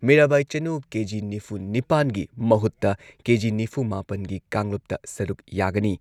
ꯃꯤꯔꯥꯕꯥꯏ ꯆꯅꯨ ꯀꯦ.ꯖꯤ ꯅꯤꯐꯨ ꯅꯤꯄꯥꯟꯒꯤ ꯃꯍꯨꯠꯇ ꯀꯦ.ꯖꯤ ꯅꯤꯐꯨ ꯃꯥꯄꯟꯒꯤ ꯀꯥꯡꯂꯨꯞꯇ ꯁꯔꯨꯛ ꯌꯥꯒꯅꯤ꯫